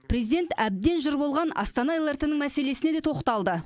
президент әбден жыр болған астана лрт мәселесіне де тоқталды